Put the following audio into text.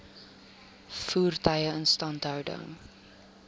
voertuie instandhouding